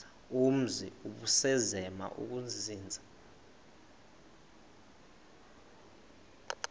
umzi ubusazema ukuzinza